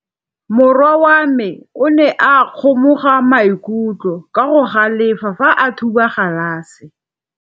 Morwa wa me o ne a kgomoga maikutlo ka go galefa fa a thuba galase.